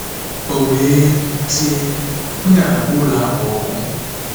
O wee tie, "M ga-agba ụlọ ahụ ọkụ!"